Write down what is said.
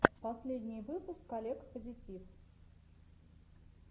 последний выпуск олег позитив